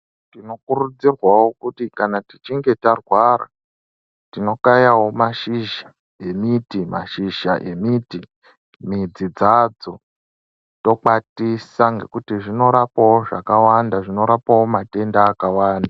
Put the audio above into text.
Tinokurudzirwavo kuti kana tichinge tarwara tinokayavo mashizha emiti mashizha emiti midzi dzadzo tokwatisa. Ngekuti zvinorapavo zvakawanda zvinorapavo matenda akawanda.